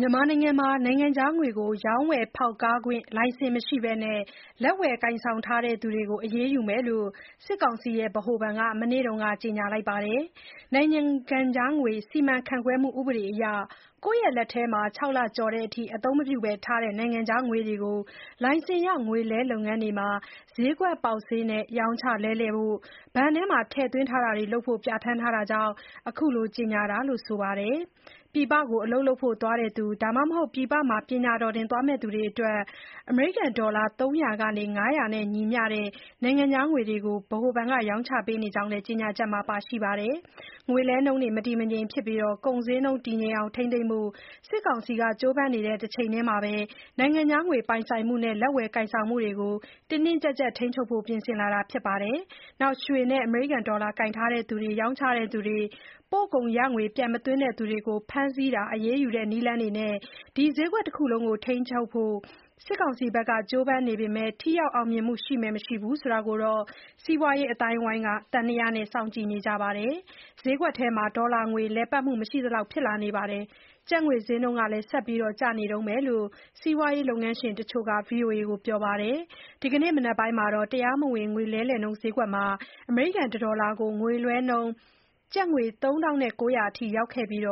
မြန်မာနိုင်ငံမှာ နိုင်ငံခြားငွေကို ရောင်းဝယ်ဖောက်ကားခွင့် လိုင်စင် မရှိဘဲ လက်ဝယ်ကိုင်ဆောင်သူတွေကို အရေးယူသွားမယ်လို့ စစ်ကောင်စီ ဗဟိုဘဏ်က မနေ့က ကြေညာလိုက်ပါတယ်။ နိုင်ငံခြားငွေ စီမံခန့်ခွဲမှုဥပဒေအရ ကိုယ့်လက်ထဲမှာ ၆ လကျော်တဲ့အထိ အသုံးမပြုဘဲထားတဲ့နိုင်ငံခြားငွေတွေကို လိုင်စင်ရငွေလဲလုပ်ငန်းတွေမှာ စျေးကွက်ပေါက်စျေးနဲ့ ရောင်းချလဲလှယ်ဖို့၊ ဘဏ်ထဲ ထည့်သွင်းတာတွေ လုပ်ဖို့ ပြဋ္ဌာန်းထားတာကြောင့် အခုလိုကြေညာတာလို့ ဆိုပါတယ်။ ပြည်ပမှာ အလုပ်လုပ်ဖို့ သွားတဲ့သူ ဒါမှမဟုတ် ပညာတော်သင် သွားမယ့်သူတွေကို အမေရိကန်ဒေါ်လာ ၃၀၀ ကနေ ၅၀၀ နဲ့ ညီမျှတဲ့ နိုင်ငံခြားငွေတွေ ရောင်းချပေးနေတဲ့အကြောင်းလည်း ကြေညာချက်မှာ ပါရှိပါတယ်။ ငွေလဲနှုန်း မတည်မငြိမ်ဖြစ်ပြီး ကုန်ဈေးနှုန်း တည်ငြိမ်အောင် ထိန်းသိမ်းဖို့ စစ်ကောင်စီဘက်က ကြိုးပမ်းနေတဲ့ တချိန်တည်းမှာ နိုင်ငံခြားငွေ ပိုင်ဆိုင်မှုနဲ့ လက်ဝယ်ကိုင်ဆောင်မှုတွေကို တင်းတင်းကြပ်ကြပ် ထိန်းချုပ်ဖို့ ပြင်ဆင်လာတာ ဖြစ်ပါတယ်။ ရွှေနဲ့ ဒေါ်လာကိုင်ထားသူတွေ၊ ရောင်းချသူတွေ၊ ပို့ကုန်ရငွေ ပြန်မသွင်းသူတွေကို ဖမ်းဆီး၊ အရေးယူတဲ့ နည်းလမ်းနဲ့ ဒီစျေးကွက်တခုလုံးကို ထိန်းကြောင်းဖို့ စစ်ကောင်စီဘက်က ကြိုးပမ်းနေပေမဲ့ ထိရောက်အောင်မြင်မှု ရှိမယ်မရှိဘူးဆိုတာ စီးပွားရေးအသိုင်းအဝိုင်းက သံသယနဲ့ စောင့်ကြည့်နေပါတယ်။ ဈေးကွက်ထဲမှာ ဒေါ်လာငွေလည်ပတ်မှု မရှိတော့သလောက် ဖြစ်လာပြီး ကျပ် ငွေဈေး ဆက်လက် ကျနေတုန်းပဲလို့ စီးပွားရေး လုပ်ငန်းရှင်တချို့က VOA ကို ပြောပါတယ်။ ဒီနေ့ မနက်ပိုင်း တရားမဝင်ဈေးကွက်မှာ တဒေါ်လာကို ငွေလဲနှုန်း ကျပ်ငွေ ၃၉၀၀ လောက်အထိ ရောက်ခဲ့ပြီး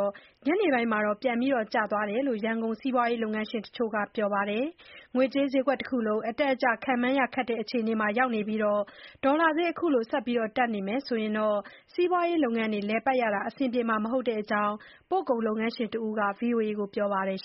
ညနေပိုင်းမှာတော့ ပြန်ကျသွားတယ်လို့ ရန်ကုန် စီးပွားရေးလုပ်ငန်းရှင်တချို့က ပြောပါတယ်။ ငွေကြေးစျေးကွက်တခုလုံး အတက်အကျ ခန့်မှန်းရခက်တဲ့ အခြေအနေ ရောက်နေပြီး ဒေါ်လာဈေး အခုလို ဆက်တက်နေမယ် ဆိုရင်တော့ လုပ်ငန်းတွေ လည်ပတ်ရတာ အဆင်ပြေမှာ မဟုတ်တဲ့အကြောင်း ပို့ကုန်လုပ်ငန်းရှင်တဦးက ဗွီအိုအေ ကိုပြောပါတယ်။